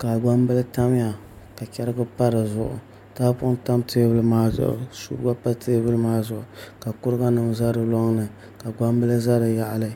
ka gbambili tamya ka chɛrigi pa dizuɣu tahapoŋ tam teebuli maa zuɣu suu gba pa teebuli maa zuɣu ka kuruga nim ʒɛ di loŋni ka gbambili ʒɛ di yaɣali